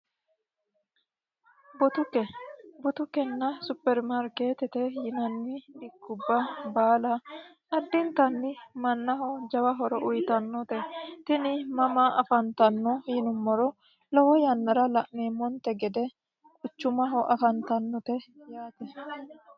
Butuke Butukkenna supermarkeetite yinanni dikubba baala addintanni mannaho jawahoro uyitannote tini mama afantanno yinummoro lowo yannara la'neemmonte gede quchumaho afantannote yaate